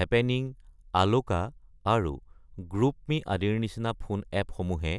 happening, আলোকা, আৰু GroupMe আদিৰ নিচিনা ফোন এপসমূহে